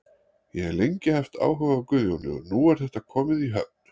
Ég hef lengi haft áhuga á Guðjóni og nú er þetta komið í höfn.